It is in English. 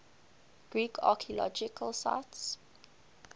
greek archaeological sites